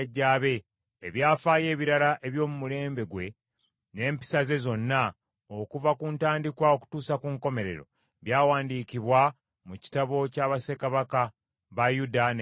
Ebyafaayo ebirala eby’omu mulembe gwe n’empisa ze zonna, okuva ku ntandikwa okutuusa ku nkomerero, byawandiikibwa mu kitabo kya bassekabaka ba Yuda ne Isirayiri.